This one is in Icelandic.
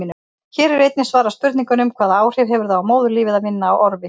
Hér er einnig svarað spurningunum: Hvaða áhrif hefur það á móðurlífið að vinna á orfi?